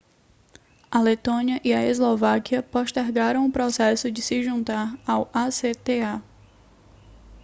a letônia e a eslováquia postergaram o processo de se juntar ao acta